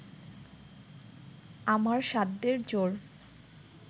আমার সাধ্যের জোর